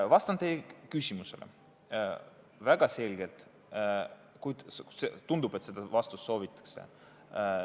Vastan teie küsimusele väga selgelt, tundub, et seda vastust soovitakse.